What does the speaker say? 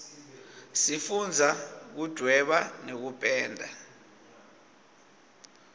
sifundza kuduweba nekupenda